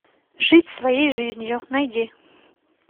жить своей жизнью найди